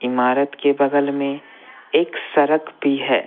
इमारत के बगल में एक सड़क भी है।